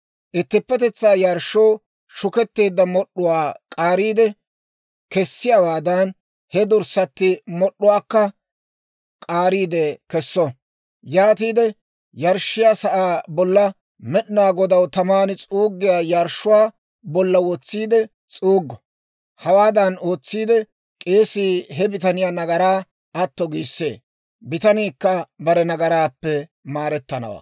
Ittippetetsaa yarshshoo shuketteedda mod'd'uwaa k'aariide kessiyaawaadan, he dorssatti mod'd'uwaakka k'aariide kesso. Yaatiide, yarshshiyaa sa'aa bolla Med'inaa Godaw taman s'uuggiyaa yarshshuwaa bolla wotsiide s'uuggo. Hawaadan ootsiide, k'eesii he bitaniyaa nagaraa atto giissee. Bitaniikka bare nagaraappe maarettanawaa.